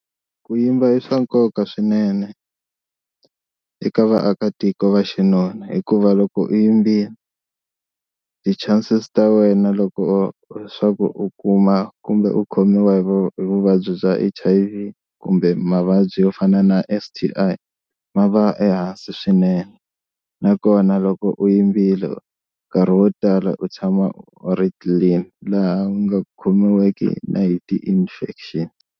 Ku yimba i swa nkoka swinene eka vaakatiko va xinuna hikuva loko u yimbile ti-chances ta wena loko swa ku u kuma kumbe u khomiwa hi vu hi vuvabyi bya H_I_V kumbe mavabyi yo fana na S_T_I ma va ehansi swinene nakona loko u yimbile nkarhi wo tala u tshama u ri clean laha u nga khomiweki na hi ti-infection.